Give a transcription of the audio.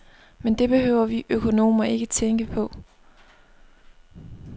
Men det behøver vi økonomer ikke tænke på.